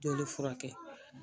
Joli furakɛ